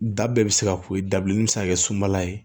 Da bɛɛ bɛ se ka ko ye dabileni bɛ se ka kɛ sumala ye